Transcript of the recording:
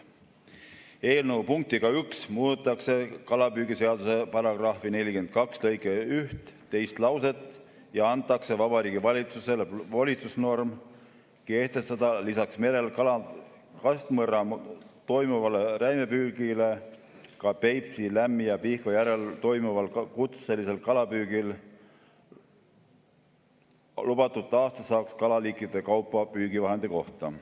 Eelnõu punktiga 1 muudetakse kalapüügiseaduse § 42 lõike 1 teist lauset ja antakse Vabariigi Valitsusele volitusnorm kehtestada lisaks merel kastmõrraga toimuvale räimepüügile ka Peipsi, Lämmi‑ ja Pihkva järvel toimuvale kutselisele kalapüügile lubatud aastasaak kalaliikide kaupa püügivahendi kohta.